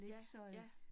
Ja, ja